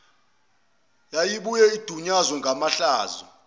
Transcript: yayibuye idunyazwe ngamahlazo